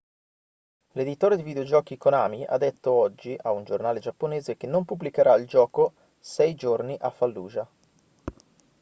l'editore di videogiochi konami ha detto oggi a un giornale giapponese che non pubblicherà il gioco sei giorni a fallujah